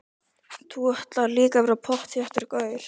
Þú ætlar líka að verða pottþéttur gaur.